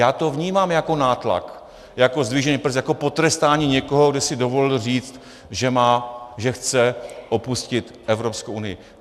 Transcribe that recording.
Já to vnímám jako nátlak, jako zdvižený prst, jako potrestání někoho, kdo si dovolil říci, že chce opustit Evropskou unii.